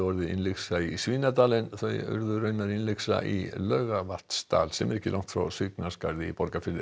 urðu innlyksa í Svínadal en þau urðu raunar innlyksa í Langavatnsdal ekki langt frá Svignaskarði í Borgarfirði